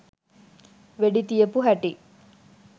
වෙඩි තියපු හැටි